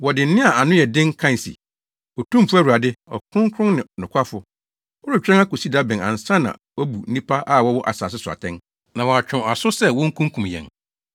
Wɔde nne a ano yɛ den kae se, “Otumfo Awurade, Ɔkronkronni ne Nokwafo! Woretwɛn akosi da bɛn ansa na wɔabu nnipa a wɔwɔ asase so atɛn, na wɔatwe wɔn aso sɛ wokunkum yɛn?”